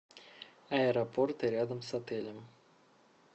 аэропорты рядом с отелем